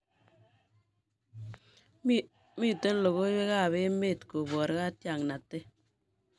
Mete logoiwekab emet kobor katiaknatet